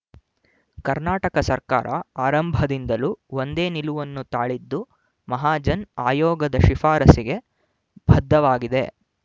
ಕರ್ನಾಟಕ ಸರಕಾರ ಅರಂಭದಿಂದಲೂ ಒಂದೇ ನಿಲುವನ್ನು ತಾಳಿದ್ದು ಮಹಾಜನ್ ಆಯೋಗದ ಶಿಫಾರಸಿಗೆ ಬದ್ಧವಾಗಿದೆ